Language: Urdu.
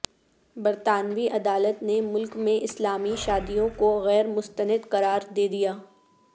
برطانوی عدالت نے ملک میں اسلامی شادیوں کوغیر مستند قرار دیدیا